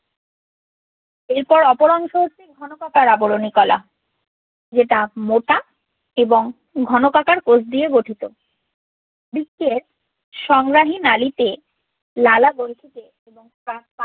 এর পর অপর অংশ হচ্ছে ঘনকাকার আবরণী কলা যেটা মোটা এবং ঘনকাকার কোষ দিয়ে গঠিত সংগ্রাহী নালীতে লালাগ্রন্থিতে এবং